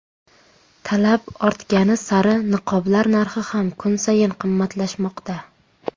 Talab ortgani sari niqoblar narxi ham kun sayin qimmatlashmoqda.